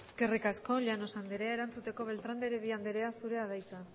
eskerrik asko llanos andrea erantzuteko beltrán de heredia andrea zurea da hitza